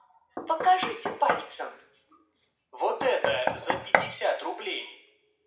покажите пальцем вот это за пятьдесят рублей